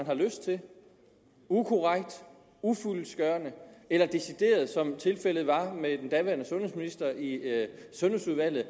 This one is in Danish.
har lyst til ukorrekt ufyldestgørende eller decideret i som tilfældet var med den daværende sundhedsminister i sundhedsudvalget